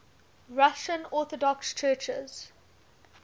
russian orthodox churches